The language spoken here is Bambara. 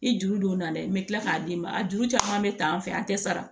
I juru don na dɛ n bɛ tila k'a d'i ma a juru caman bɛ ta an fɛ an tɛ sara